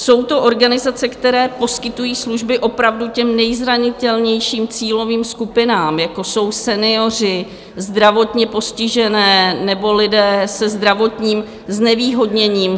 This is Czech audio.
Jsou to organizace, které poskytují služby opravdu těm nejzranitelnějším cílovým skupinám, jako jsou senioři, zdravotně postižení nebo lidé se zdravotním znevýhodněním.